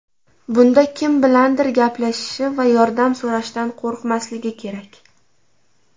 Bunda kim bilandir gaplashishi va yordam so‘rashdan qo‘rqmasligi kerak.